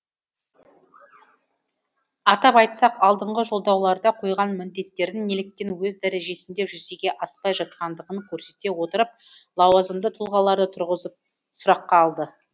атап айтсақ алдыңғы жолдауларда қойған міндеттердің неліктен өз дәрежесінде жүзеге аспай жатқандығын көрсете отырып лауазымды тұлғаларды тұрғызып сұраққа алды